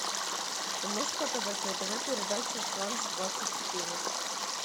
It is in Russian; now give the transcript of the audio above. ты можешь показать на тв передачу франс двадцать четыре